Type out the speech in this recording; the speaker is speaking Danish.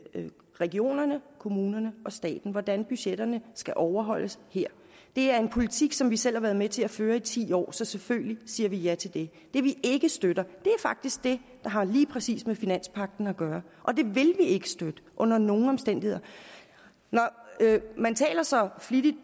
regionerne kommunerne og staten og hvordan budgetterne skal overholdes her det er en politik som vi selv har været med til at føre i ti år så selvfølgelig siger vi ja til det det vi ikke støtter er faktisk det der har lige præcis med finanspagten at gøre og det vil vi ikke støtte under nogen omstændigheder man taler så flittigt